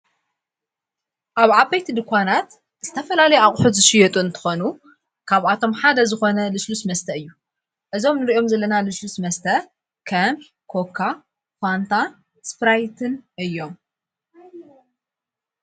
ኣብ ዓበይቲ ድኳናት እስተፈላለይ ኣቝሑ ዝ ሽየጡ እንተኾኑ ፤ካብኣቶም ሓደ ዝኾነ ልሽሉስ መስተ እዩ ።እዞም ንርእኦም ዘለና ልሽሉስ መስተ ከም ኮካ ፋንታ ስጵራይትን እዮም።